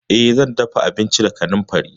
Eh, zan dafa abinci da kanamfari.